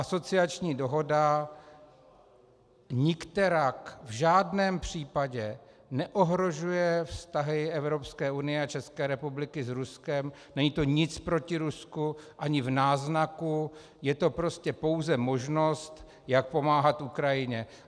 Asociační dohoda nikterak v žádném případě neohrožuje vztahy Evropské unie a České republiky s Ruskem, není to nic proti Rusku, ani v náznaku, je to prostě pouze možnost, jak pomáhat Ukrajině.